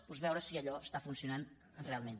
doncs veure si allò funciona realment